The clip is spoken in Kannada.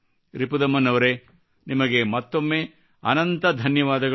ರಿಪುದಮನ್ ಅವರೇ ನಿಮಗೆ ಮತ್ತೊಮ್ಮೆ ಅನಂತ ಧನ್ಯವಾದಗಳು